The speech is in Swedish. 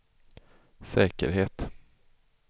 säkerhet